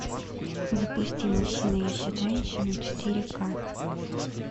запусти